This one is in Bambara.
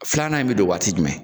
Filanan in bɛ don waati jumɛn?